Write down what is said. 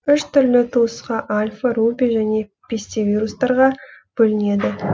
үш түрлі туысқа альфа руби және пестивирустарға бөлінеді